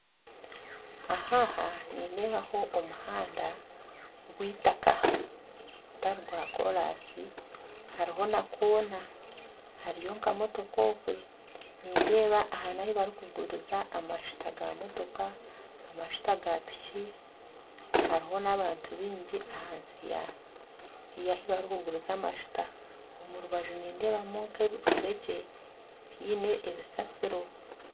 Aha aha nindeebaho omuhanda gw'eitaka gutari gwa koraasi hariho na koona hariyo nk'emotoka okwe nindeeba aha n'ahu barikuguriza amajuta g'emotoka, amajuta ga piki hariho n'abantu baingi ahansi y'ahu barikuguriza amajuta. Omu rubaju nindeebamu nka emifuregye einemu ebisasiro